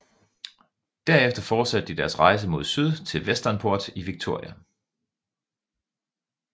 Derefter fortsatte de deres rejse mod syd til Westernport i Victoria